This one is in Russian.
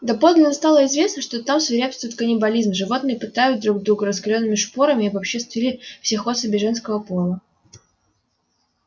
доподлинно стало известно что там свирепствует каннибализм животные пытают друг друга раскалёнными шпорами и обобществили всех особей женского пола